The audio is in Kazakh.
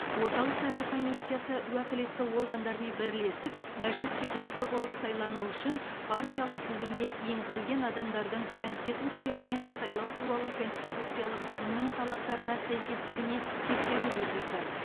орталық сайлау комиссиясы уәкілетті органдармен бірлесіп мәжіліс депутаты болып сайлану үшін партиялық тізімге енгізілген адамдардың конституция мен сайлау туралы конституциялық заңның талаптарына сәйкестігіне тексеру жүргізді